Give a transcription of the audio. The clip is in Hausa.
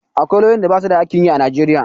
Akwai lauyoyin da basu da aikin yi a Najeriya.